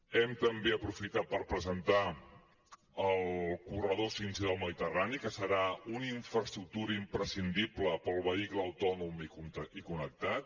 hem també aprofitat per presentar el corredor 5g del mediterrani que serà una infraestructura imprescindible per al vehicle autònom i connectat